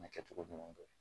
kɛcogo ɲuman kɛ